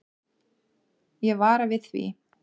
Ég vara við því.